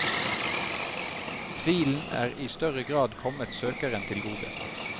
Tvilen er i større grad kommet søkeren til gode.